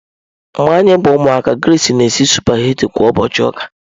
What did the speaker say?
Mgbe anyị bụ ụmụaka, nne Grace na-esi sụpaghetị kwa ụbọchị ụka.